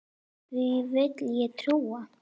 Því vill ég trúa.